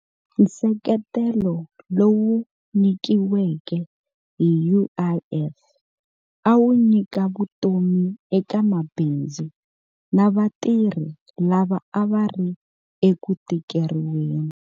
Nseketelo lowu nyikiweke hi UIF a wu nyika vutomi eka mabindzu na vatirhi lava a va ri eku tikeriweni.